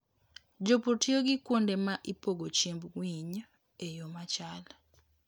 Jopur tiyo gi kuonde ma ipogo chiemb winy e yo machal.